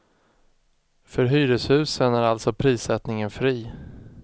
För hyreshusen är alltså prissättningen fri.